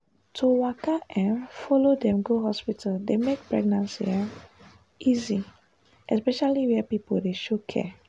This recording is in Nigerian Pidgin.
to waka um follow dem go hospital dey make pregnancy um easy especially where people dey show care.